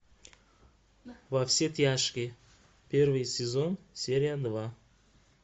во все тяжкие первый сезон серия два